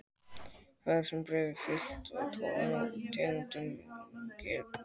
Þar sem blárefir og villta tófan eru sömu tegundar geta þau átt frjó afkvæmi innbyrðis.